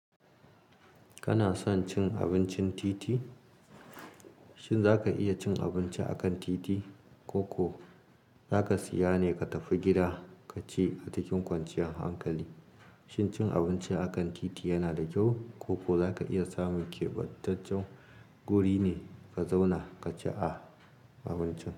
Kana son cin abincin titi? Shin zaka iya cin abinci akan titi? Ko kuwa zaka siya ne ka tafi gida ka ci a cikin kwanciyan hankali. Shin cin abinci akan titi yana da kyau? Ko kuwa zaka iya samun keɓantaccen wuri ne ka zauna ka ci abincin?